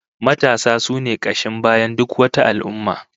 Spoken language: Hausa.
Matasa sune kashin bayan duk wata al'ummah